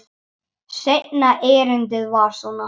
Seinna erindið var svona: